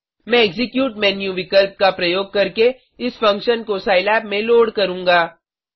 मैं execute menu विकल्प का प्रयोग करके इस फंक्शन को सिलाब में लोड करूँगा